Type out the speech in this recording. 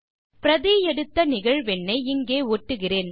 பிரதி எடுத்த நிகழ்வெண்ணை இங்கே ஒட்டுகிறேன்